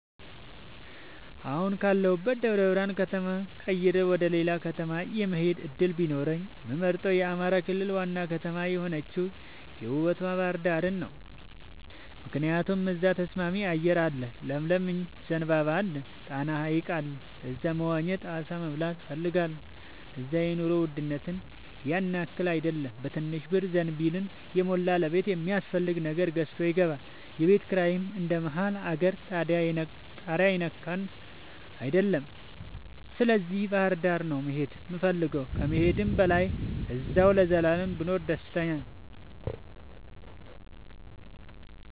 አሁን ካለሁበት ደብረብርሃን ከተማ ቀይሬ ወደሌላ ከተማ የመሆድ እድል ቢኖረኝ የምመርጠው የአማራ ክልል ዋና ከተማ የሆነችውን ውቡቷ ባህርዳርን ነው። ምክንያቱም እዛ ተስማሚ አየር አለ ለምለም ዘንባባ አለ። ጣና ሀይቅ አለ እዛ መዋኘት አሳ መብላት እፈልጋለሁ። እዛ የኑሮ ውድነቱም ያንያክል አይደለም በትንሽ ብር ዘንቢልን የሞላ ለቤት የሚያስፈልግ ነገር ገዝቶ ይገባል። የቤት ኪራይም እንደ መሀል አገር ታሪያ የነካ አይደለም ስለዚህ ባህርዳር ነው መሄድ የምፈልገው ከመሄድም በላይ አዚያው ለዘላለም ብኖር ደስተኛ ነኝ።